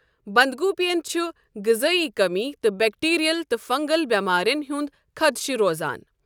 بَنٛدگوٗپیَن چھُ غزٲیی کمی ، تہٕ بیکٹیریل تہٕ فَنٛگل بؠمارین ہُنٛد خَدشہٕ روزان۔